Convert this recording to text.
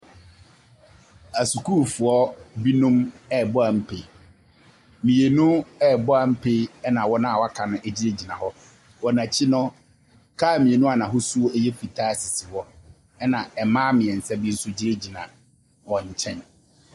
Ɛsukuufoɔ bi nom rebɔ ampe. Mmienu rebɔ ampe ɛna wɔn a aka no egyinagyina hɔ. Wɔn ɛkyi no car mmienu a n'ahosuo ɛyɛ fitaa esi hɔ ɛna mmaa mmiɛnsa bi nso gyinagyina wɔn kyɛn.